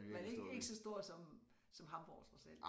Men ikke ikke så stor som som Hamborg trods alt